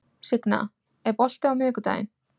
Signa, er bolti á miðvikudaginn?